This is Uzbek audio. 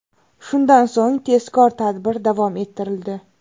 Shundan so‘ng tezkor tadbir davom ettirildi.